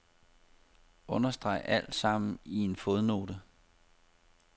Understreg alt sammen i en fodnote.